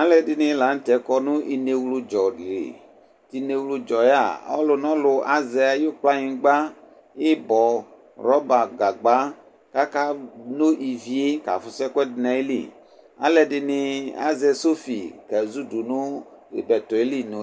Alʋ ɛdɩnɩ la nʋ tɛ kɔ nʋ inewludzɔ li, inewludzɔ yɛ a, ɔlʋ nʋ ɔlʋ azɛ ayʋ kplanyɩgba, ɩbɔ, rɔba, gagba kʋ akeno ivi yɛ kʋ akafʋsʋ ɛkʋɛdɩ nʋ ayili Alʋ ɛdɩnɩ azɛ sɔfɩ, kezudʋ nʋ ɩbɛtɔ yɛ li nʋ